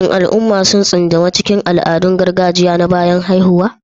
Shin al'umma sun tsunduma cikin al'adun gargajiya na bayan haihuwa?